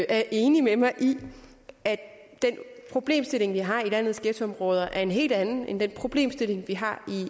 er enig med mig i at den problemstilling vi har i landets ghettoområder er en helt anden end den problemstilling vi har